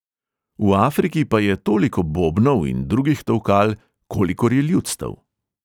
V afriki pa je toliko bobnov in drugih tolkal, kolikor je ljudstev.